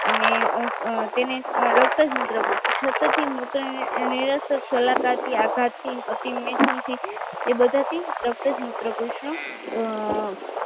અને અ તેને અ રસક મૂત્રકૂજ છોતો થી મોતો નિરસક કૂલકાત થી આગાતથી પછી મૈથુનથી એ બધાથી રસક મૂત્રકુજ